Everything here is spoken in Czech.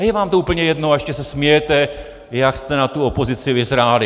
A je vám to úplně jedno a ještě se smějete, jak jste na tu opozici vyzráli.